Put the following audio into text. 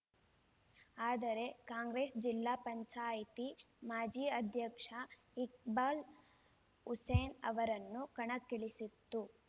ಆದರೆ ಕಾಂಗ್ರೆಸ್‌ ಜಿಲ್ಲಾ ಪಂಚಾಯಿತಿ ಮಾಜಿ ಅಧ್ಯಕ್ಷ ಇಕ್ಬಾಲ್‌ ಹುಸೇನ್‌ ಅವರನ್ನು ಕಣಕ್ಕಿಳಿಸಿತ್ತು